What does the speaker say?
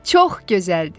Çox gözəldir!